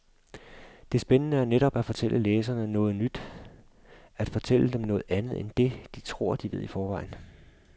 Det spændende er netop at fortælle læserne noget nyt, at fortælle dem noget andet end det, de tror de ved i forvejen.